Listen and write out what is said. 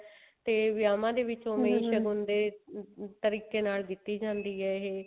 ਤੇ ਵਿਆਹਵਾਂ ਦੇ ਵਿੱਚ ਦੇ ਤਰੀਕੇ ਨਾਲ ਜਿੱਤੀ ਜਾਂਦੀ ਹੈ